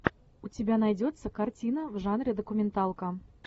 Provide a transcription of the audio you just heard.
у тебя найдется картина в жанре документалка